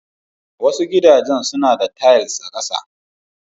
Wasu gidajen suna da tiles a ƙasa.